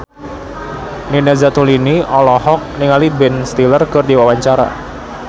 Nina Zatulini olohok ningali Ben Stiller keur diwawancara